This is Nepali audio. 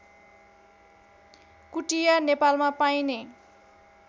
कुटिया नेपालमा पाइने